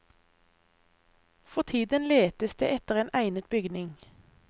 For tiden letes det etter en egnet bygning.